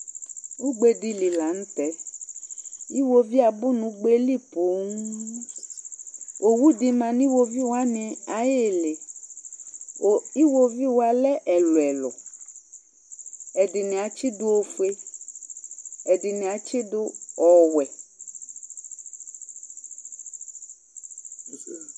Ugbe di li la n'tɛ, iwovi abu n'ugbé li põnn, owu di ma nu iwoviwani ayili ku iwovi la ni lɛ ɛluɛlu, ɛdini atsidu ofue, ɛdini atsidu ɔwɛ